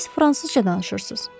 Siz fransızca danışırsınız.